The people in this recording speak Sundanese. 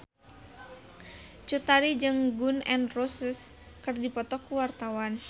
Cut Tari jeung Gun N Roses keur dipoto ku wartawan